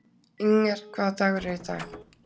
Inger, hvaða dagur er í dag?